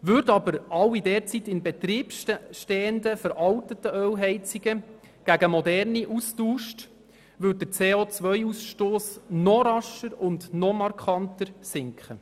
Würden aber alle derzeit in Betrieb stehenden veralteten Ölheizungen gegen moderne ausgetauscht, würde der CO-Ausstoss noch rascher und noch markanter sinken.